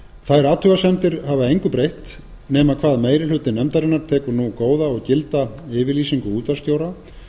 þær athugasemdir hafa engu breytt nema hvað meiri hluti nefndarinnar tekur nú góða og gilda yfirlýsingu útvarpsstjóra